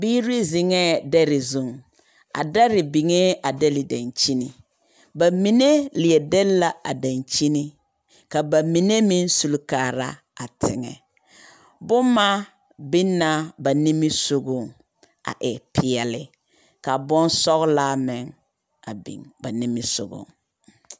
Biiri zeŋɛɛ dɛe zuŋ. A dɔre biŋee a dɛle daŋkyini. Ba mine leɛ dɛle la a daŋkyini ka ba mine meŋsuli kaara a teŋɛ. Boma biŋ na ba nimisogoŋ a e peɛle ka bosɔgelaa meŋ a biŋ ba nimisogoŋ.